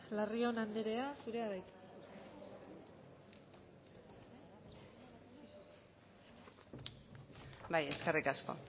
larrion anderea zurea da hitza bai eskerrik asko